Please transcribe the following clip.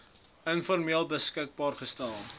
informeel beskikbaar gestel